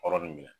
Hɔrɔn